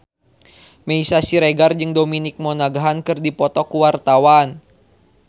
Meisya Siregar jeung Dominic Monaghan keur dipoto ku wartawan